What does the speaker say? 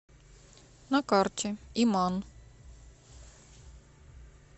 на карте иман